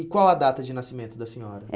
E qual a data de nascimento da senhora?